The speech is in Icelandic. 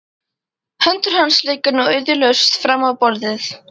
Hendur hans liggja nú iðjulausar fram á borðið.